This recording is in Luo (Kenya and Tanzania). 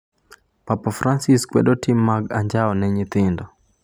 Papa Francis kwedo tim mag anjao ne nyithindo